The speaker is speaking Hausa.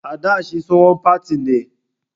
A dà shi tsohon partè ne.